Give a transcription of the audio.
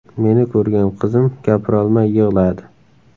Meni ko‘rgan qizim gapirolmay yig‘ladi.